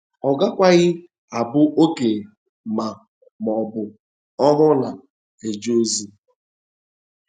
Ọ gakwaghị abụ okenye ma ọ bụ ohu na - eje ozi.